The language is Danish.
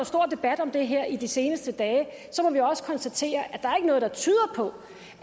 stor debat om det her i de seneste dage så må vi også konstatere at der ikke er noget der tyder på